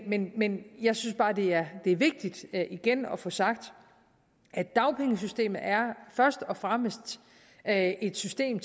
men men jeg synes bare det er er vigtigt igen at få sagt at dagpengesystemet først og fremmest er et system